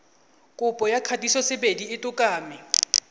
kopo ya kgatisosebedi ya tokomane